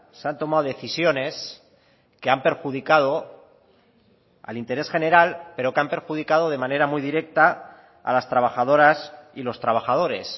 se han tomado decisiones que han perjudicado al interés general pero que han perjudicado de manera muy directa a las trabajadoras y los trabajadores